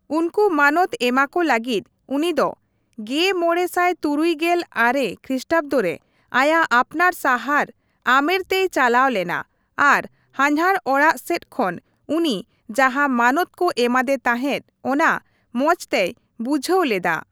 ᱩᱱᱠᱩ ᱢᱟᱱᱚᱛ ᱮᱢᱟᱠᱚ ᱞᱟᱹᱜᱤᱫ ᱩᱱᱤ ᱫᱚ ᱑᱕᱖᱙ ᱠᱷᱨᱤᱥᱴᱟᱵᱫᱚ ᱨᱮ ᱟᱭᱟᱜ ᱟᱯᱱᱟᱨ ᱥᱟᱦᱟᱨ ᱟᱢᱮᱨ ᱛᱮᱭ ᱪᱟᱞᱟᱣ ᱞᱮᱱᱟ ᱟᱨ ᱦᱟᱱᱦᱟᱨ ᱚᱲᱟᱜ ᱥᱮᱡ ᱠᱷᱚᱱ ᱩᱱᱤ ᱡᱟᱦᱟᱸ ᱢᱟᱱᱚᱛ ᱠᱚ ᱮᱢᱟᱫᱮ ᱛᱟᱦᱮᱸᱫ, ᱚᱱᱟ ᱢᱚᱡ ᱛᱮᱭ ᱵᱩᱡᱦᱟᱹᱣ ᱞᱮᱫᱟ ᱾